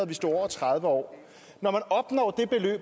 hvis du er over tredive år